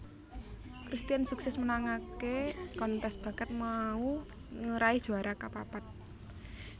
Christian sukses menangaké kontes bakat mau ngeraih juara kapapat